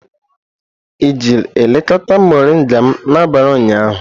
I jiri elekọta moringa m n'abalị ụnyaahụ?